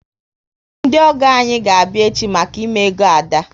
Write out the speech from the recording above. Ndi ogo anyị ga abịa echi maka ime ego Ada